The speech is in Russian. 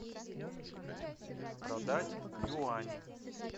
продать юани